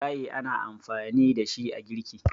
gaye ana amfani da shi a girki